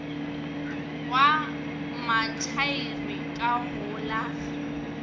wa mathaere ka go la